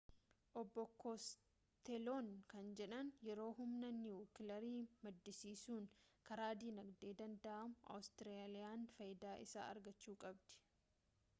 obbo kosteloon kan jedhan yeroo humna niwukilaarii maddisiisuun karaa dinagdee danda'amu awustiraaliyaan faayidaa isaa argachuu qabdi